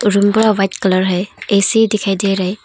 Room पूरा white colour है AC दिखाई दे रहे है।